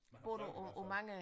Man har vand i hvert fald